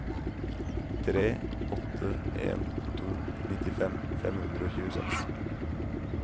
tre åtte en to nittifem fem hundre og tjueseks